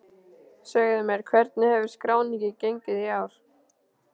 Segðu mér, hvernig hefur skráningin gengið í ár?